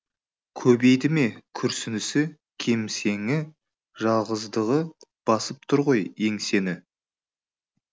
көбейді ме күрсінісі кемсеңі жалғыздығы басып тұр ғой еңсені